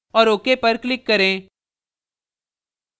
औऱ ok पर click करें